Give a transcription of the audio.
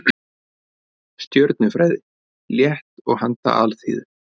Stjörnufræði, létt og handa alþýðu.